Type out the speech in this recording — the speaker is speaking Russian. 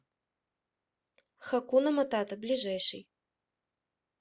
хакуна матата ближайший